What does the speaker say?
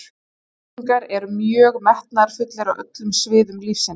Íslendingar eru mjög metnaðarfullir á öllum sviðum lífsins.